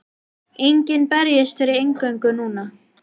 Enginn berjist fyrir inngöngu núna.